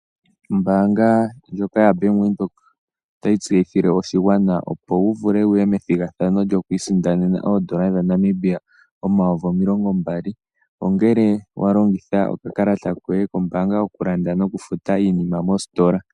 Ombanga ndyoka yabank windhoek otayi tseyithile oshigwana opo wuvule wuye methigathano lyoku isindanena oondola dhaNamibia omayovi omilongo mbali ongele walongitha okakalata koye kombanga okulanda nokufuta iinima moositola.